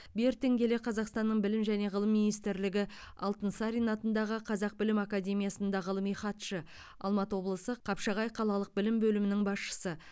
бертін келе қазақстанның білім және ғылым министрлігі алтынсарин атындағы қазақ білім академиясында ғылыми хатшы алматы облысы қапшағай қалалық білім бөлімінің басшысы